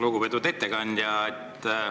Lugupeetud ettekandja!